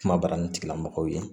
Kuma baranitigilamɔgɔw ye